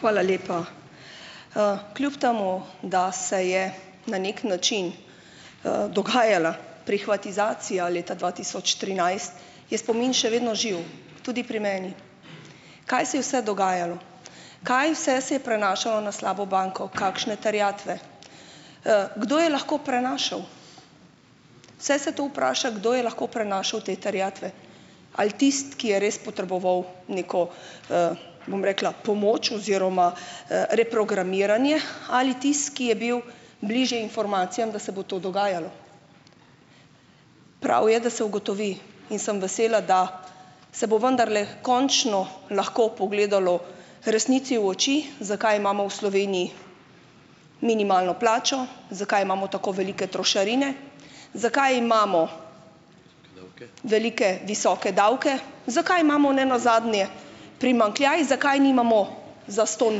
Hvala lepa. Kljub temu, da se je na neki način, dogajala prihvatizacija leta dva tisoč trinajst, je spomin še vedno živ, tudi pri meni. Kaj se je vse dogajalo? Kaj vse se je prenašalo na slabo banko, kakšne terjatve? Kdo je lahko prenašal? Vse se to vpraša, kdo je lahko prenašal te terjatve? Ali tisto, ki je res potreboval neko, bom rekla pomoč oziroma, reprogramiranje ali tisti, ki je bil bližje informacijam, da se bo to dogajalo? Prav je, da se ugotovi in sem vesela, da se bo vendarle končno lahko pogledalo resnici v oči, zakaj imamo v Sloveniji minimalno plačo, zakaj imamo tako velike trošarine, zakaj imamo velike, visoke davke, zakaj imamo ne nazadnje primanjkljaj, zakaj nimamo zastonj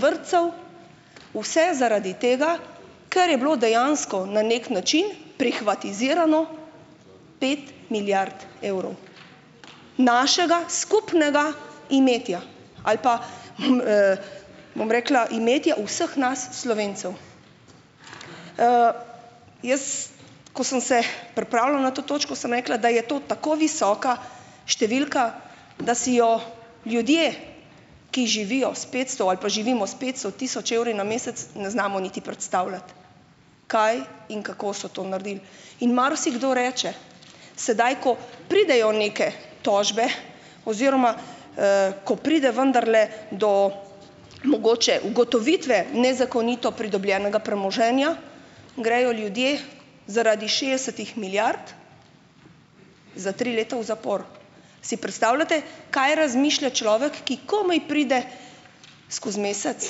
vrtcev - vse zaradi tega, ker je bilo dejansko na neki način prihvatizirano pet milijard evrov našega skupnega imetja. Ali pa hm, bom rekla, imetja vseh nas Slovencev. Jaz, ko sem se pripravljala na to točko, sem rekla, da je to tako visoka številka, da si jo ljudje, ki živijo s petsto ali pa živimo s petsto tisoč evri na mesec, ne znamo niti predstavljati, kaj in kako so to naredili. In marsikdo reče, sedaj, ko pridejo neke tožbe oziroma, ko pride vendarle do mogoče ugotovitve nezakonito pridobljenega premoženja, grejo ljudje zaradi šestdesetih milijard za tri leta v zapor. Si predstavljate, kaj razmišlja človek, ki komaj pride skozi mesec?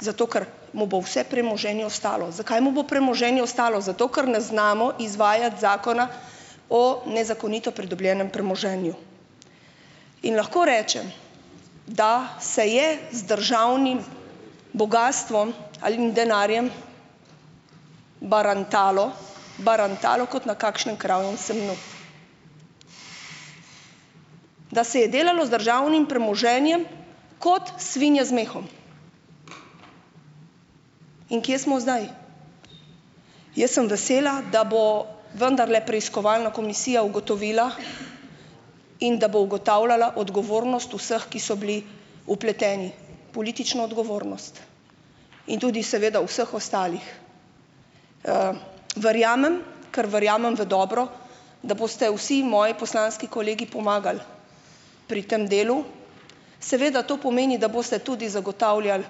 Zato, ker mu bo vse premoženje ostalo - zakaj mu bo premoženje ostalo? Zato, ker ne znamo izvajati Zakona o nezakonito pridobljenem premoženju. In lahko rečem, da se je z državnim bogastvom ali denarjem, barantalo, barantalo kot na kakšnem kravjem semnju. Da se je delalo z državnim premoženjem kot svinje z mehom. In kje smo zdaj? Jaz sem vesela, da bo vendarle preiskovalna komisija ugotovila in da bo ugotavljala odgovornost vseh, ki so bili vpleteni, politično odgovornost in tudi seveda vseh ostalih. Verjamem, kar verjamem v dobro, da boste vsi moji poslanski kolegi pomagali pri tam delu. Seveda to pomeni, da boste tudi zagotavljali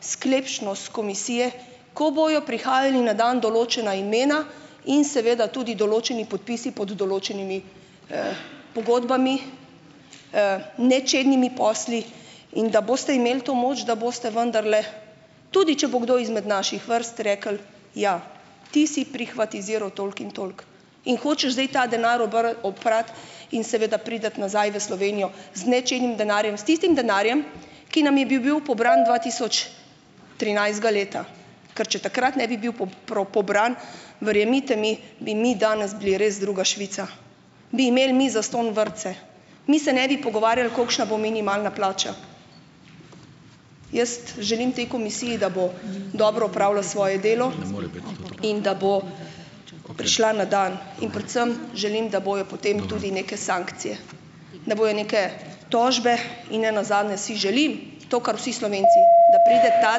sklepčnost komisije, ko bodo prihajala na dan določena imena in seveda tudi določeni podpisi pod določenimi, pogodbami, nečednimi posli, in da boste imeli to moč, da boste vendarle tudi, če bo kdo izmed naših vrst, rekli: "Ja, ti si prihvatiziral toliko in toliko in hočeš zdaj ta denar oprati in seveda priti nazaj v Slovenijo z nečednim denarjem, s tistim denarjem, ki nam je bi bil pobran dva tisoč trinajstega leta." Ker če takrat ne bi bil pobran, verjemite mi, bi mi danes bili res druga Švica, bi imel mi zastonj vrtce, mi se ne bi pogovarjali, kolikšna bo minimalna plača. Jaz želim tej komisiji, da bo dobro opravlja svoje delo, in da bo prišla na dan, in predvsem želim, da bojo potem tudi neke sankcije. Da bojo neke tožbe in ne nazadnje si želim to, kar vsi Slovenci, da pride ta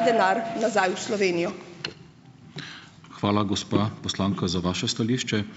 denar nazaj v Slovenijo.